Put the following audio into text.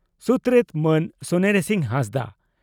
ᱥᱩᱛᱨᱮᱛ ᱢᱟᱹᱱ ᱥᱚᱱᱮᱨᱤᱥᱤᱝ ᱦᱟᱸᱥᱫᱟᱜ